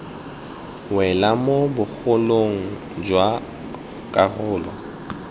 wela mo bogolong jwa karolo